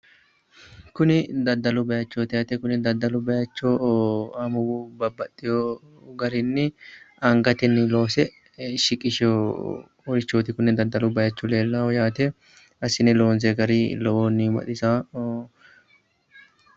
Kuni daddalu bayichooti yaate kuni daddalu bayicho amuwu babbaxxewo garinni angatenni loose shiqisheworichooti kuni daddalu bayicho leellaahu assine loonsoyi gari lowohunni baxisawo